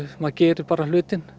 maður gerir bara hlutinn